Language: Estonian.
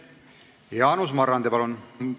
Jaanus Marrandi, palun!